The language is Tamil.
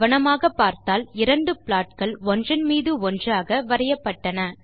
கவனமாக பார்த்தால் இரண்டு ப்லாட்கள் ஒன்றின் மீது ஒன்றாக வரையப்பட்டன